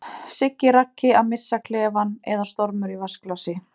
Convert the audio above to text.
Siggi Raggi að missa klefann eða stormur í vatnsglasi?